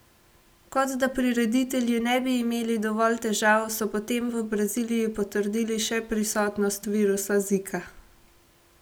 Kot da prireditelji ne bi imeli dovolj težav, so potem v Braziliji potrdili še prisotnost virusa zika.